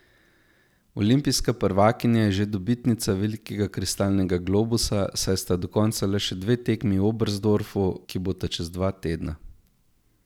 Olimpijska prvakinja je že dobitnica velikega kristalnega globusa, saj sta do konca le še dve tekmi v Oberstdorfu, ki bosta čez dva tedna.